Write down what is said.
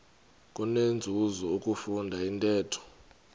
kunenzuzo ukufunda intetho